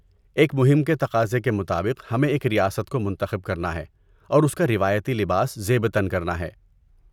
ایک مہم کے تقاضے کے مطابق، ہمیں ایک ریاست کو منتخب کرنا ہے اور اس کا روایتی لباس زیب تن کرنا ہے۔